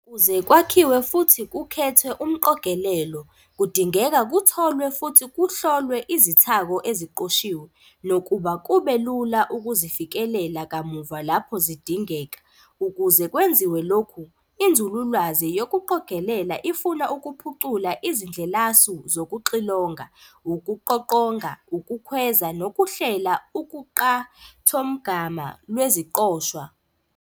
Ukuze kwakhiwe futhi kukhethwe umqogelelo, kudingeka kutholwe futhi kuhlolwe izithako eziqoshiwe, nokuba kube lula ukuzifikelela kamuva lapho zidingeka. Ukuze kwenziwe lokhu, inzululwazi yokuqogelela ifuna ukuphucula izindlelasu zokuxilonga, ukuqoqonga, ukukhweza, nokuhlela uqukathomgama lweziqoshwa.